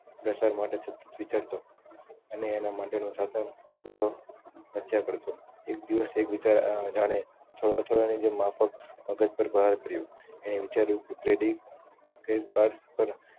પ્રસાર માટે વિચારતો અનેં એના માટે નો હતો મથ્યા કરતો એક દિવસ એક વિચા જાણે થોડા થોડા ને પર ગોર કર્યું એને વિચાર્યું કે ક્રેડીટ ડેબીટ કાર્ડ પર